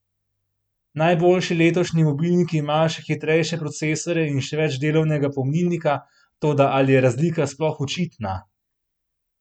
Najboljši letošnji mobilniki imajo še hitrejše procesorje in še več delovnega pomnilnika, toda ali je razlika sploh očitna?